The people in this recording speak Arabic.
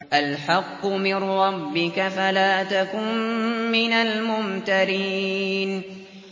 الْحَقُّ مِن رَّبِّكَ فَلَا تَكُن مِّنَ الْمُمْتَرِينَ